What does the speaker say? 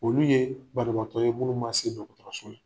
Olu ye banabaatɔ ye munnu ma se dɔgɔtɔrɔso la.